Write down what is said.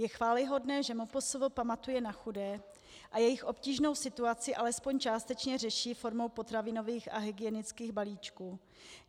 Je chvályhodné, že MPSV pamatuje na chudé a jejich obtížnou situaci alespoň částečně řeší formou potravinových a hygienických balíčků.